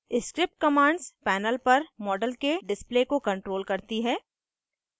script commands panel पर model के display को control करती हैं